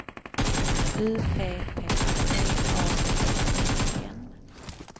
U P P T A G E N